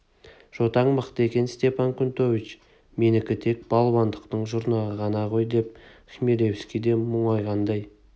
жотаң мықты екен степан кнутович менікі тек балуандықтың жұрнағы ғана ғой деп хмелевский де мұңайғандай